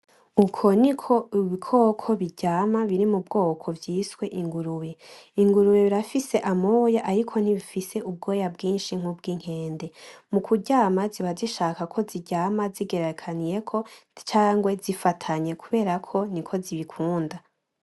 Uko ni ko ibikoko biryama biri mu bwoko bw’ibitwa ingurube. Ingurube irafise amoya ariko ntifise ubwoya bwinshi nk’ubw’inkende. Mu kuryama ziba zizishaka ko ziryama zigeragekaniyeko cangwe zifatanye kubera ko niko zibikunda.